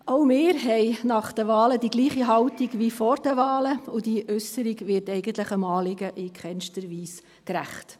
Auch wir haben nach den Wahlen dieselbe Haltung wie vor den Wahlen, und diese Äusserung wird eigentlich dem Anliegen in keinster Weise gerecht.